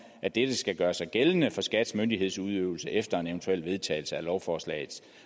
at dette skal gøre sig gældende for skats myndighedsudøvelse efter en eventuel vedtagelse af lovforslag